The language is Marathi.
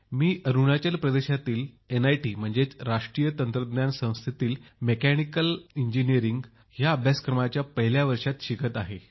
मी अरुणाचल प्रदेशातील राष्ट्रीय तंत्रज्ञान संस्थेत मेकॅनिकल अभियांत्रिकी अभ्यासक्रमाच्या पहिल्या वर्षात शिकत आहे